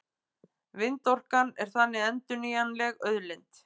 Vindorkan er þannig endurnýjanleg auðlind.